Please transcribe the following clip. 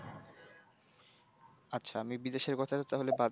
আচ্ছা, আমি বিদেশের কথা তাহলে বাদ,